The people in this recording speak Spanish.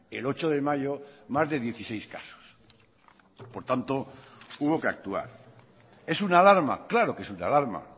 el ocho de mayo más de dieciséis casos por tanto hubo que actuar es una alarma claro que es una alarma